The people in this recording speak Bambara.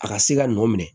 A ka se ka nɔ minɛ